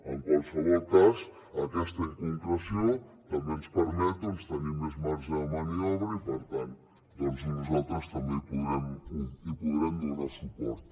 en qualsevol cas aquesta inconcreció també ens permet tenir més marge de maniobra i per tant nosaltres també hi podrem donar suport